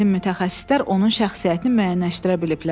Bizim mütəxəssislər onun şəxsiyyətini müəyyənləşdirə biliblər.